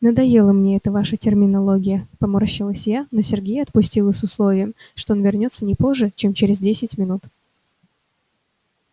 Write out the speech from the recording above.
надоела мне эта ваша терминология поморщилась я но сергея отпустила с условием что он вернётся не позже чем через десять минут